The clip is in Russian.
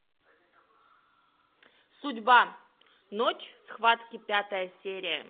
судьба ночь схватки пятая серия